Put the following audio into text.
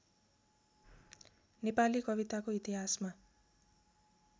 नेपाली कविताको इतिहासमा